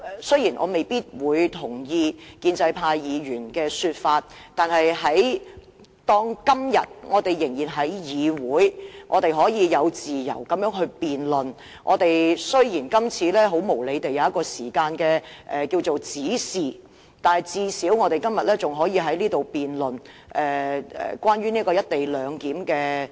雖然我未必同意建制派議員的意見，但當我們今天仍能在議會這樣自由辯論......雖然今次無理地設有時限，但最少我們今天仍可在此辯論《廣深港高鐵條例草案》。